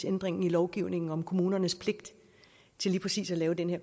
ændringerne i lovgivningen om kommunernes pligt til lige præcis at lave den her